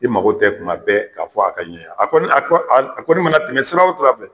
I mago tɛ kun ma bɛɛ k'a fɔ a ka ɲe a a kɔni a kɔ a kɔni mana tɛmɛ sira o sira fɛ